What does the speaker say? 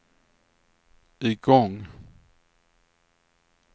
igång